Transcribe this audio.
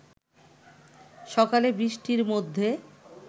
সকালে বৃষ্টির মধ্যে